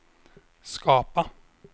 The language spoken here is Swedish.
skapa